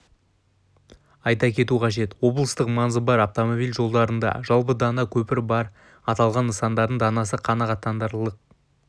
айта кету қажет облыстық маңызы бар автомобиль жолдарында жалпы дана көпір бар аталған нысандардың данасы қанағаттанарлық